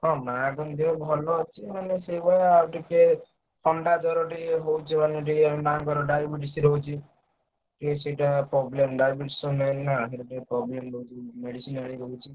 ହଁ ମାଆଙ୍କ ଦେହ ଭଲ ଅଛି ହେଲେ ସେଇଭଳିଆ ଟିକେ ଥଣ୍ଡା ଜ୍ବର ଟିକେ ହଉଛି ମାନେ ଟିକେ ମାଆଙ୍କର diabetes ରହୁଛି। ତେଣୁ ସେଇଟା problem diabetes main ନା ସେଇଥିପାଇଁ problem ରହୁଛି medicine